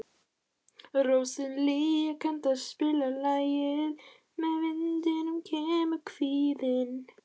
Róselía, kanntu að spila lagið „Með vindinum kemur kvíðinn“?